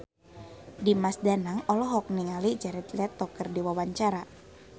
Dimas Danang olohok ningali Jared Leto keur diwawancara